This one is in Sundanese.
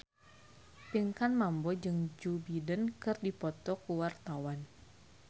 Pinkan Mambo jeung Joe Biden keur dipoto ku wartawan